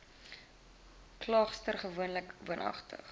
klaagster gewoonlik woonagtig